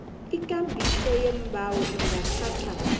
ikambiso yeembawo ingathatha